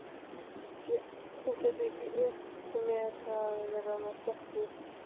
Þú getur ekki unnt mér að vera með stelpu.